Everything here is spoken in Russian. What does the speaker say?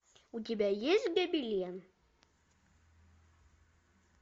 у тебя есть гобелен